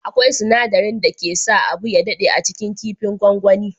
Akwai sinadarin dake sa abu ya dade a cikin kifin gwagwani.